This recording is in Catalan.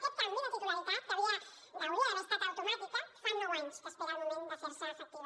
aquest canvi de titularitat que hauria d’haver estat automàtic fa nou anys que espera el moment de fer se efectiu